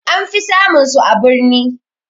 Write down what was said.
Anfi samun su a birni